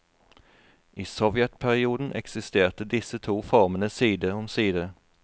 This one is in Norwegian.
I sovjetperioden eksisterte disse to formene side om side.